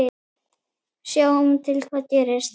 Sjáum til hvað gerist.